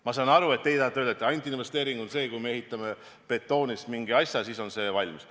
Ma saan aru, et teie tahate öelda, et investeering on ainult see, et kui me ehitame betoonist mingi asja ja siis saab see valmis.